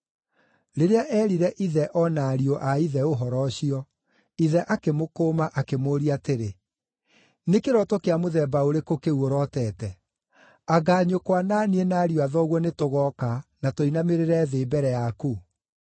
Rĩrĩa eerire ithe o na ariũ a ithe ũhoro ũcio, ithe akĩmũkũma, akĩmũũria atĩrĩ, “Nĩ kĩroto kĩa mũthemba ũrĩkũ kĩu ũrotete? Anga nyũkwa, na niĩ, na ariũ a thoguo nĩtũgooka, na tũinamĩrĩre thĩ mbere yaku?”